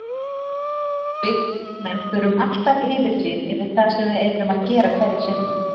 Við karlmenn þurfum alltaf yfirsýn yfir það sem við erum að gera hverju sinni.